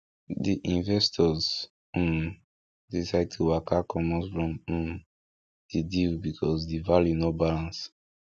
di investors um decide to waka comot from um di deal because di value no balance